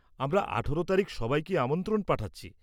আমরা আঠেরো তারিখ সবাইকে আমন্ত্রণ পাঠাচ্ছি।